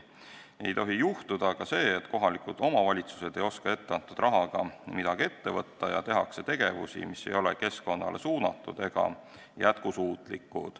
Ei tohi juhtuda aga see, et kohalikud omavalitsused ei oska etteantud rahaga midagi ette võtta ja tehakse seda, mis ei ole keskkonnale suunatud ega jätkusuutlik.